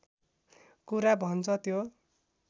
कुरा भन्छ त्यो